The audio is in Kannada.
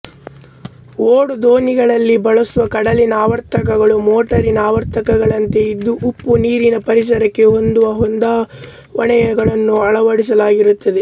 ಓಡುದೋಣಿಗಳಲ್ಲಿ ಬಳಸುವ ಕಡಲಿನ ಆವರ್ತಕಗಳು ಮೋಟಾರಿನ ಆವರ್ತಕಗಳಂತೆ ಇದ್ದು ಉಪ್ಪುನೀರಿನ ಪರಿಸರಕ್ಕೆ ಹೊಂದುವ ಹೊಂದಾವಣೆಗಳನ್ನು ಅಳವಡಿಸಲಾಗಿರುತ್ತದೆ